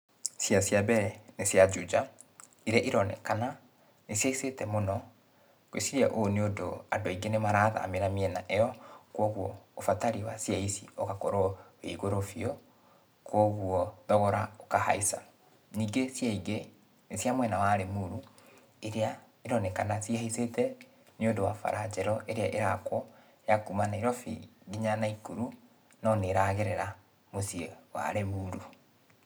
Ciea cia mbere, nĩ cia Juja, iria ironekana, nĩ cihaicĩte mũno, ngwiciria ũũ nĩũndũ andũ aingĩ nĩ marathamĩra mĩena ĩyo, kuoguo ũbatari wa ciea ici ũgakorwo wĩ igũrũ biũ, kuoguo thogora ũkahaica. Ningĩ ciea ingĩ, nĩ cia mwena wa Limuru, iria ironekana cihaicĩte nĩũndũ wa bara njerũ ĩrĩa ĩrakwo, ya kuma Nairobi nginya Nakuru, no nĩragerera mũciĩ wa Limuru.